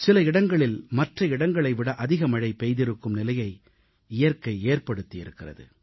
சில இடங்களில் மற்ற இடங்களை விட அதிக மழை பெய்திருக்கும் நிலையை இயற்கை ஏற்படுத்தி இருக்கிறது